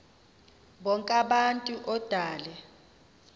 bonk abantu odale